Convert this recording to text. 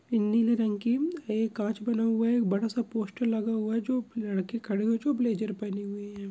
नीले रंग की ये कांच बना हुआ है एक बड़ा सा पोस्टर लगा हुआ है जो लड़के खड़े हुए है जो ब्लेजर पेहने हुए है।